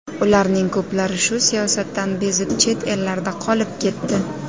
Ularning ko‘plari shu siyosatdan bezib, chet ellarda qolib ketdi.